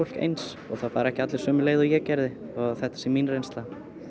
eins og það fara ekki allir sömu leið og ég gerði þó að þetta sé mín reynsla